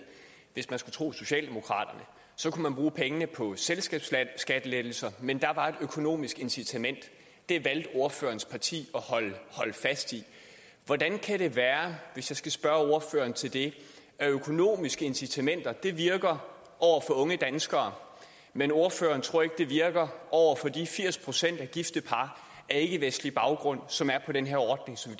hvis man skulle tro socialdemokraterne kunne man bruge pengene på selskabsskattelettelser men der var et økonomisk incitament det valgte ordførerens parti at holde fast i hvordan kan det være hvis jeg skal spørge ind til det at økonomiske incitamenter virker over for unge danskere men at ordføreren ikke tror det virker over for de firs procent af gifte par af ikkevestlig baggrund som er på den ordning som